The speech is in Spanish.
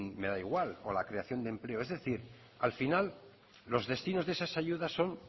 me da igual o la creación de empleo es decir al final los destinos de esas ayudas son